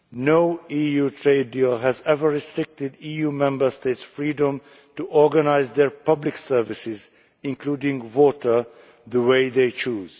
No EU trade deal has ever restricted EU Member States' freedom to organise their public services including water the way they choose.